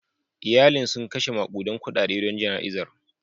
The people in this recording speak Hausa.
Iyalin sun kashe makudan kudade don jana'izar.